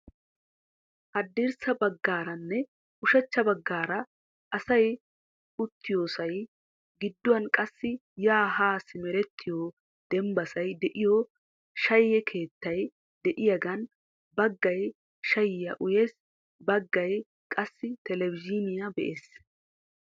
Haddirssa baggaaranne ushachcha baggaara asay uuttiyoosay giduwan qassi yaa haa simerettiyo dembbasay de"iyoo shayye keettay de"iyaagan baaggay shayiya uyes baggay qassi telebizhzhiiniya be'ees.